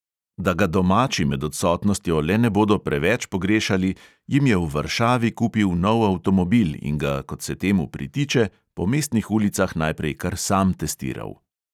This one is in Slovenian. Da ga domači med odsotnostjo le ne bodo preveč pogrešali, jim je v varšavi kupil nov avtomobil in ga, kot se temu pritiče, po mestnih ulicah najprej kar sam testiral.